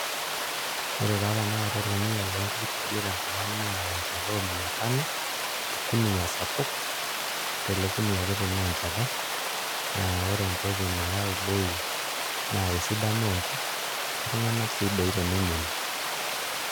Ore taa tanakata orkuniyia loonkuk tenkop ang' naa enchata o mia tano orkuniyia sapuk, ore ele kuniyia kiti naa enchata naa ore entoki nayau bei naa esidano oonkuk oltung'anak sii doi teneng'enu.